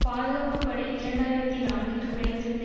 பாதுகாப்பு படை இரண்டு ஆயிரத்தி நான்கில் குறைந்திருந்த